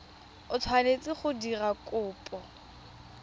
o tshwanetseng go dira kopo